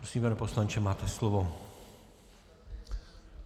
Prosím, pane poslanče, máte slovo.